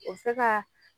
O bɛ se ka